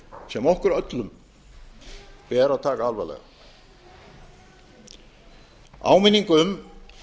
sem okkur öllum ber að taka alvarlega áminning um